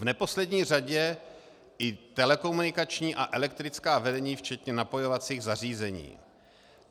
V neposlední řadě i telekomunikační a elektrická vedení včetně napojovacích zařízení.